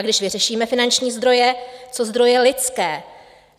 A když vyřešíme finanční zdroje, co zdroje lidské?